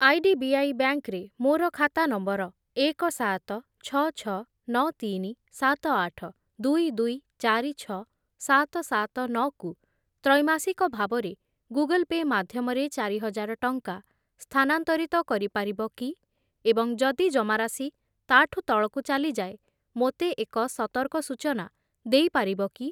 IDBI bank ରେ ମୋର ଖାତା ନମ୍ବର ଏକ, ସାତ, ଛଅ, ଛଅ, ନଅ, ତିନି, ସାତ, ଆଠ, ଦୁଇ, ଦୁଇ, ଚାରି, ଛଅ, ସାତ, ସାତ, ନଅ କୁ ତ୍ରୈମାସିକ ଭାବରେ ଗୁଗଲ୍ ପେ' ମାଧ୍ୟମରେ ଚାରିହଜାର ଟଙ୍କା ସ୍ଥାନାନ୍ତରିତ କରିପାରିବ କି ଏବଂ ଯଦି ଜମାରାଶି ତାଠୁ ତଳକୁ ଚାଲିଯାଏ ମୋତେ ଏକ ସତର୍କ ସୂଚନା ଦେଇପାରିବ କି?